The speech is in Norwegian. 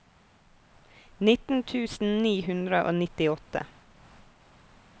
nitten tusen ni hundre og nittiåtte